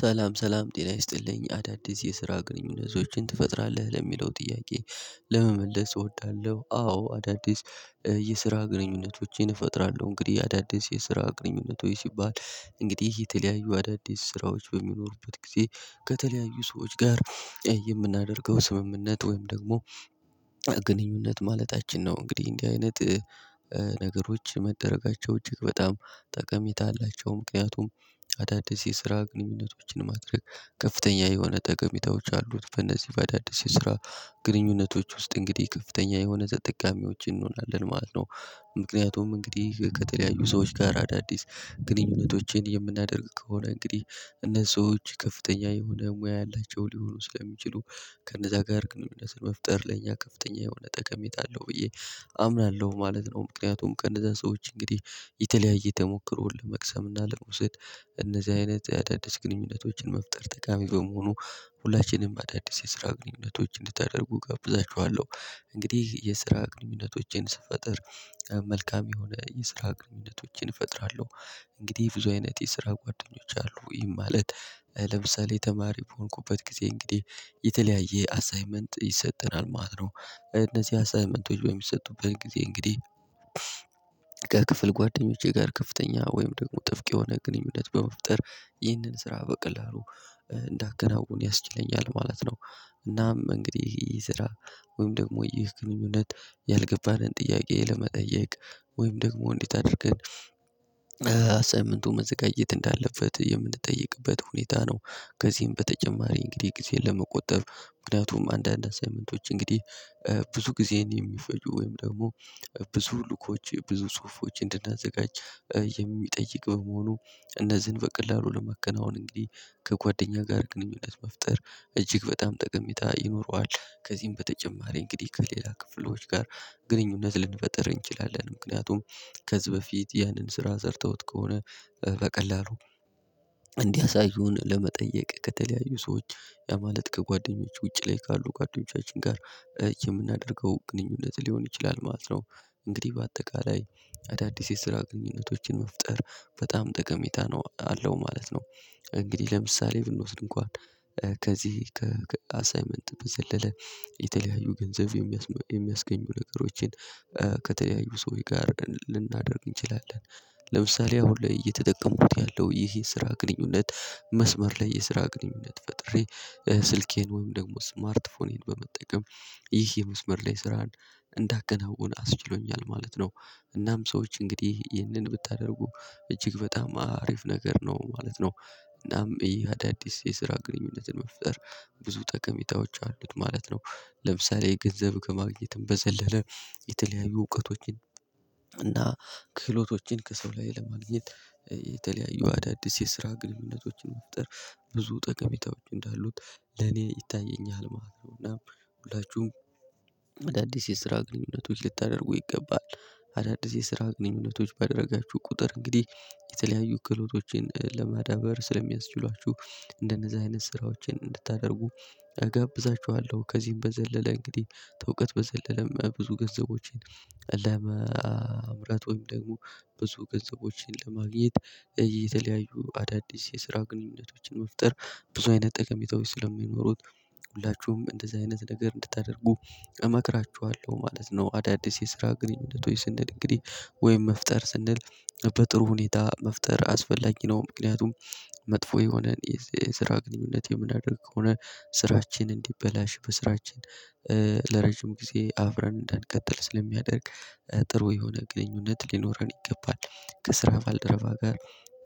ሰላም ሰላም ጤና ይስጥልኝ አዳዲስ የስራ ግንኙነቶችን ትፈጥራለህ ለሚለው ጥያቄ ለመመለስ እወዳለሁ። አዎ አዳዲስ የስራ ግንኙነቶችን እፈጥራለሁ እንግዲህ አዳዲስ የስራ ግንኙነቶች ሲባል እንግዲህ የተለያዩ አዳዲስ ስራዎች በሚኖሩበት ጊዜ ከተለያዩ ሰዎች ጋር የምናደርገው ስምምነት ወይም ደግሞ ግንኙነት ማለታችን ነው። እንግዲህ እንዲህ አይነት ነገሮች መደረጋቸው እጅግ በጣም ጠቀሜታ አላቸው። ምክንያቱም አዳዲስ የስራ ግንኙነቶችን ማድረግ ከፍተኛ የሆነ ጠቀሜታዎች አሉት በእነዚህ በአዳዲስ የስራ ግንኙነቶች ውስጥ እንግዲህ ከፍተኛ የሆነ ተጠቃሚዎችን እንሆናለን ማለት ነው። ምክንያቱም እንግዲህ ከተለያዩ ሰዎች ጋር አዳዲስ ግንኙነቶችን የምናደርግ ከሆነ እንግዲህ እነሱ ሰዎች ከፍተኛ የሆነ ሙያ ያላቸው ሊሆኑ ስለሚችሉ ከነዛ ጋር ግንኙነትን መፍጠር ለእኛ ከፍተኛ የሆነ ጠቀሜታ አለው ብዬ አምናለሁ ማለት ነው። ምክንያቱም ከእንዛ ሰዎች እንግዲህ የተለያዩየ ተሞክሮ ለመቅሰም እና ለመውሰድ እንደዚህ አይነት ግንኙነቶችን መፍጠር ጠቃሚ በመሆኑ ሁላችንም አዳዲስ የስራ ግንኙነቶች እንድታደርጉ እጋብዛችኋለሁ። እንግዲህ የስራ ግንኙነቶችን ስፈጥር መልካም የሆነ የስራ ግንኙነቶችን እፈጥራለሁ። እንግዲህ ብዙ አይነት የስራ ጓደኞች አሉ ይህም ማለት ለምሳሌ ተማሪ በሆንኩበት ጊዜ እንግዲህ የተለያየ አሳይመንት ይሰጠናል ማለት ነው። እነዚህ አሳይመንቶች በሚሰጡበት ጊዜ እንግዲህ ከክፍል ጓደኞቼ ጋር ከፍተኛ ወይም ደግሞ ጥብቅ የሆነ ግንኙነት በመፍጠር ይህንን ስራ በቀላሉ እንዳከናውን ያስችለኛል ማለት ነው። እናም እንግዲህ ይህ ስራ ወይም ደግሞ ይህ ግንኙነት ያልገባንን ጥያቄ ለመጠየቅ ወይም ደግሞ እንዴት አድርገን አስይመንቱ መዘጋጀት እንዳለበት የምንጠይቅበት ሁኔታ ነው። ከዚህም በተጨማሪ እንግዲህ ጊዜን ለመቆጠብ ምክንያቱም አንዳንድ አሳይመንቶች እንግዲህ ብዙ ጊዜን የሚፈጁ ወይም ደግሞ ብዙ ሉኮች ብዙ ጽሁፎች እንድናዘጋጅ የሚጠይቅ በመሆኑ እነዚህን በቀላሉ ለመከናወን እንግዲህ ከጓደኛ ጋር ግንኙነት መፍጠር እጅግ በጣም ጠቀሜታ ይኖረዋል። ከዚህም በተጨማሪ እንግዲህ ከሌላ ክፍሎች ጋር ግንኙነት ልንፈጥር እንችላለን ምክንያቱም ከዚህ በፊት ያንን ስራ ሰርተውት ከሆነ በቀላሉ እንዲያሳዩን ለመጠየቅ ከተለያዩ ሰዎች ያ ማለት ከጓደኞች ውጪ ላይ ካሉ ጓደኞቻችን ጋር የምናደርገው ግንኙነት ሊሆን ይችላል ማለት ነው። እንግዲህ በአጠቃላይ አዳዲስ የስራ ግንኙነቶችን መፍጠር በጣም ጠቀሜታ ነው አለው ማለት ነው። እንግዲህ ለምሳሌ ብንወስድ እንኳን ከዚህ ከአሳይመንት በዘለለ የተለያዩ ገንዘብ የሚያስገኙ ነገሮችን ከተለያዩ ሰዎች ጋር ልናደርግ እንችላለን። ለምሳሌ አሁን ላይ እየተጠቀሙት ያለው ይሄ የስራ ግንኙነት መስመር ላይ የስራ ግንኙነት ፈጥሬ ስልኬን ወይም ደግሞ ስማርት ፎኔን በመጠቀም ይህ የመስመር ላይ ስራን እንዳከናውን አስችሎኛል ማለት ነው። እናም ሰዎች እንግዲህ ይሄንን ብታደርጉ እጅግ በጣም አሪፍ ነገር ነው ማለት ነው። እናም ይህ አዳዲስ የስራ ግንኙነትን መፍጠር ብዙ ጠቀሜታዎች አሉት ማለት ነው። ለምሳሌ ገንዘብ ከማግኘትም በዘለለ የተለያዩ እውቀቶችን እና ክህሎቶችን ከሰው ላይ ለማግኘት የተለያዩ አዳዲስ የስራ ግንኙነቶችን መፍጠር ብዙ ጠቀሜታዎች እንዳሉት ለኔ ይታየኛል ማለት ነው። እና ሁላችሁም አዳዲስ የስራ ግንኙነቶች ልታደርጉ ይገባል አዳዲስ የስራ ግንኙነቶች ባደረጋችሁ ቁጥር እንግዲህ የተለያዩ ክህሎቶችን ለማዳበር ስለሚያስችሏችሁ እንደነዛ አይነት ስራዎችን እንድታደርጉ እጋብዛችኋለሁ። ከዚህም በዘለለ እንግዲህ ተእውቀት በዘለለም ብዙ ገንዘቦችን ለመምራት ወይም ደግሞ ብዙ ገንዘቦችን ለማግኘት የተለያዩ አዳዲስ የስራ ግንኙነቶችን መፍጠር ብዙ አይነት ጠቀሜታዎች ስለሚኖሩት ሁላችሁም እንደዚህ አይነት ነገር እንድታደርጉ እመክራችኋለሁ ማለት ነው። አዳዲስ የስራ ግንኙነቶች ስንል እንግዲህ ወይም መፍጠር ስንል በጥሩ ሁኔታ መፍጠር አስፈላጊ ነው ምክንያቱም መጥፎ የሆነን የስራ ግንኙነት የምናደርግ ከሆነ ስራችን እንዲበላሽ በስራችን ለረጅም ጊዜ አፍረን እንዳንቀጥል ስለሚያደርግ። ጥሩ የሆነ ግንኙነት ሊኖረን ይገባል። ከስራ ባልደረባ ጋር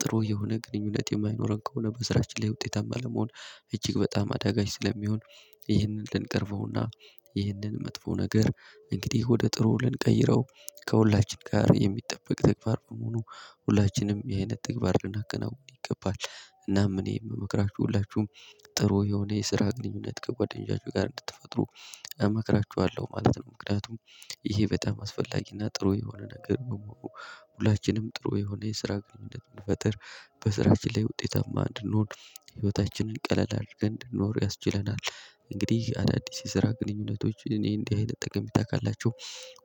ጥሩ የሆነ ግንኙነት የማይኖረን ከሆነ በስራችን ላይ ውጤታማ ለመሆን እጅግ በጣም አዳጋች ስለሚሆን። ይህንን ልንቀርፈው እና ይህንን መጥፎ ነገር እንግዲህ ወደ ጥሩ ልንቀይረው ከሁላችን ጋር የሚጠበቅ ተግባር መሆኑ ሁላችንም ይህ አይነት ተግባር ልናከናውን ይገባል። እናም እኔ የምመክራችሁ ሁላችሁም ጥሩ የሆነ የስራ ግንኙነት ከጓደኞቻችሁ ጋር እንድትፈጥሩ እመክራችኋለሁ ማለት ነው። ምክንያቱም ይሄ በጣም አስፈላጊ እና ጥሩ የሆነ ነገር መኖሩ ሁላችንም ጥሩ የሆነ የስራ ግንኙነት ብንፈጠር በስራችን ላይ ውጤታማ እንድንሆን ህይወታችንን ቀለል አድርገን እንድንኖር ያስችለናል። እንግዲህ አዳዲስ የስራ ግንኙነቶች እኔ እንዲህ አይነት ጠቀሜታ ካላቸው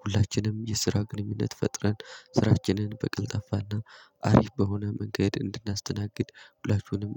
ሁላችንም የስራ ግንኙነት ፈጥረን ስራችንን በቀልጣፋ እና አሪፍ በሆነ መንገድ እንድናስተናግድ ሁላችሁንም